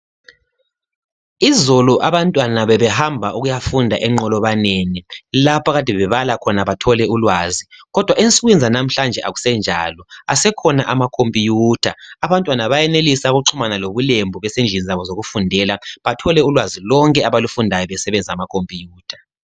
Izolo abantwana bebehamba ukuyafunda enqolobaneni lapha akade bebala khoba bathole ulwazi. Kodwa ensukwini zanamhlanje akusenjalo. Asekhona amakhomputha, abantwana bayenelisa ukuxhumana lobulembu besendlini zabo zokufundela bethole ulwazi lonke abalufundayo ababesebenzisa amakhoputha.